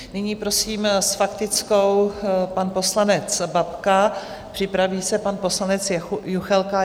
Nyní prosím, s faktickou pan poslanec Babka, připraví se pan poslanec Juchelka.